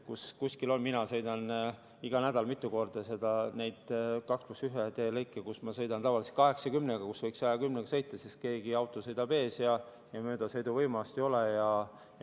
Mina sõidan iga nädal mitu korda mööda neid 2 + 1 teelõike, kus ma sõidan tavaliselt 80-ga, kuigi võiks 110-ga sõita, aga mõni auto sõidab ees ja möödasõiduvõimalust ei ole.